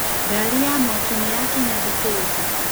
Ngari ya mwaki nĩyakinya thitĩnji.